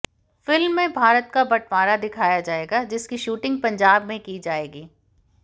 film में भारत का बंटवारा दिखाया जाएगा जिसकी शूटिंग पंजाब में की जाएगी